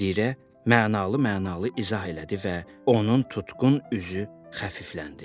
Müdirə mənalı-mənalı izah elədi və onun tutqun üzü xəfifləndi.